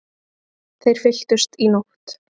Þeir fylltust í nótt.